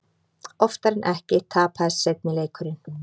Oftar en ekki tapaðist seinni leikurinn.